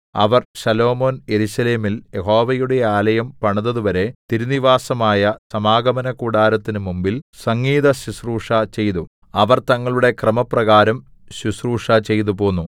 അവർ Solomon യെരൂശലേമിൽ യഹോവയുടെ ആലയം പണിതതുവരെ തിരുനിവാസമായ സാമഗമനകൂടാരത്തിന് മുമ്പിൽ സംഗീതശുശ്രൂഷചെയ്തു അവർ തങ്ങളുടെ ക്രമപ്രകാരം ശുശ്രൂഷചെയ്തുപോന്നു